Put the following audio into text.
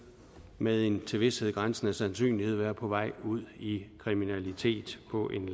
med en til vished grænsende sandsynlighed vil være på vej ud i kriminalitet på en